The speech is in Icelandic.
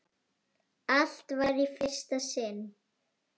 Allt var í fyrsta sinn.